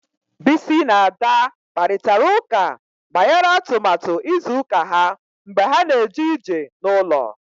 Bisi na Ada kparịtara ụka banyere atụmatụ izu ụka ha mgbe ha na-eje ije n'ụlọ